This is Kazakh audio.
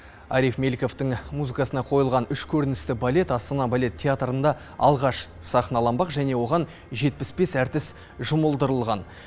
ариф меликовтің музыкасына қойылған үш көріністі балет астана балет театрында алғаш сахналанбақ және оған жетпіс бес әртіс жұмылдырылған